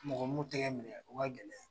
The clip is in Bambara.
Mɔgɔ m'u tɛgɛ minɛ o ka gɛlɛn .